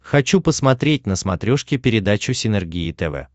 хочу посмотреть на смотрешке передачу синергия тв